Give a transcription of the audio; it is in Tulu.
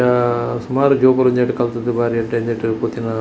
ಸುಮಾರು ಜೋಕುಲು ಇಂದೆಟ್ ಕಲ್ತುದು ಬಾರಿ ಎಡ್ಡೆ --